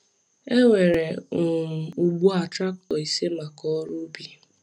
E nwere um ugbu a traktọ ise maka ọrụ ubi.